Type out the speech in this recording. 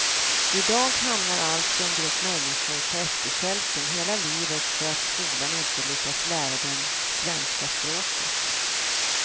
I dag hamnar alltså en grupp människor på efterkälken hela livet för att skolan inte lyckats lära dem svenska språket.